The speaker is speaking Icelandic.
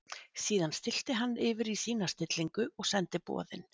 Síðan stillti hann yfir í sína stillingu og sendi boðin.